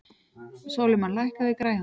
Sólimann, lækkaðu í græjunum.